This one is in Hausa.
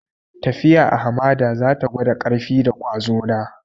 Tafiya a hamada za ta gwada ƙarfi da kwazo na.